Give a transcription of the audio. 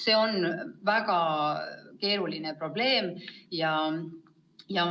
" See on väga keeruline probleem.